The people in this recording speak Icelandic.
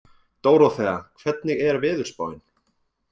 Dóróþea, hvernig er veðurspáin?